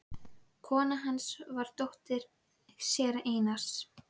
Kona hans var dóttir séra Einars